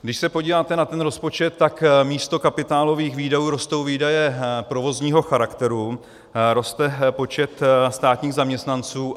Když se podíváte na ten rozpočet, tak místo kapitálových výdajů rostou výdaje provozního charakteru, roste počet státních zaměstnanců.